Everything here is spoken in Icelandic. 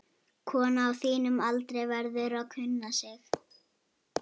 Kona á þínum aldri verður að kunna sig.